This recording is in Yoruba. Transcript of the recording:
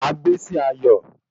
Wa gbésìn ayọ̀